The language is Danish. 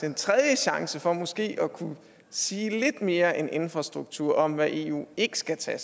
en tredje chance for måske at kunne sige lidt mere end infrastruktur om hvad eu ikke skal tage